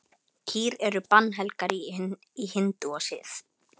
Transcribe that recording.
Kýr eru bannhelgar í hindúasið.